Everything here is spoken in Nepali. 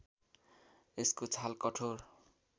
यसको छाल कठोर